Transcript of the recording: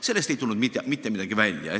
Sellest ei tulnud mitte midagi välja.